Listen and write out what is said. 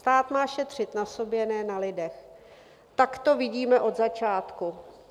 Stát má šetřit na sobě, ne na lidech, tak to vidíme od začátku.